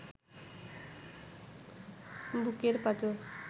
বুকের পাঁজর